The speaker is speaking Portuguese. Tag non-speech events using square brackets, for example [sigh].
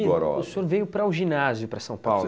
[unintelligible] o senhor veio para o ginásio, para São Paulo?